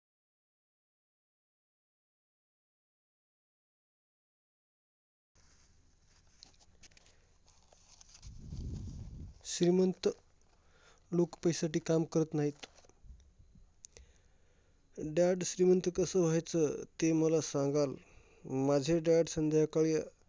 श्रीमंत लोक पैशासाठी काम करत नाहीत. dad श्रीमंत कसं व्हायचं? ते मला सांगाल. माझे dad संध्याकाळी